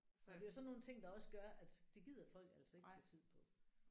Så det er jo sådan nogle ting der også gør at det gider folk altså ikke bruge tid på